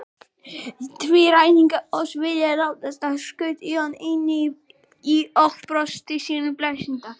Því ræningjar oss vilja ráðast á, skaut Jón inn í og brosti sínu blíðasta.